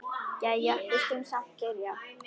Jæja, við skulum samt byrja.